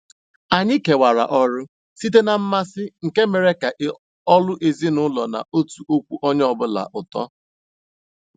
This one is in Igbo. Anyị kewara ọrụ site na mmasị, nke mere ka ọlụ ezinụlọ n'atọkwu onye ọ bụla ụtọ.